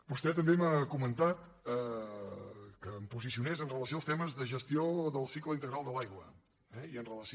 vostè també m’ha comentat que em posicionés amb relació als temes de gestió del cicle integral de l’aigua i amb relació